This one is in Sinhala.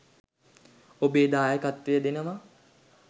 ඔබේ දායකත්වය දෙනවා.